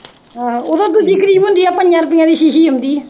ਆਹੋ ਓਦੋ ਦੂਜੀ ਕਰੀਮ ਹੁੰਦੀ ਹੀ ਆ ਪੰਜਾ ਰੁਪਈਆ ਵਾਲੀ ਛੀਛੀ ਆਉਂਦੀ ਆ।